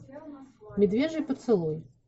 медвежий поцелуй